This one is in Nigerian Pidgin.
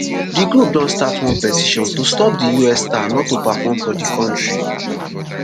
di group don start one petition to stop di us star not to perform for di kontri